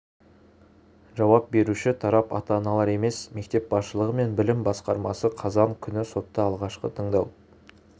жауап беруші тарап ата-аналар емес мектеп басшылығы мен білім басқармасы қазан күні сотта алғашқы тыңдау